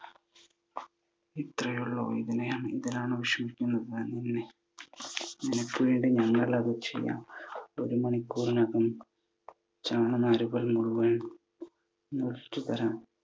ഇത്രേയുള്ളോ. ഇതിനെയാ ഇതിനാണോ വിഷമിക്കുന്നത്. നിനക്ക് വേണ്ടി ഞങ്ങളത് ചെയ്യാം. ഒരു മണിക്കൂറിനകം ചണനാരുകൾ മുഴുവൻ മുറിച്ചു തരാം.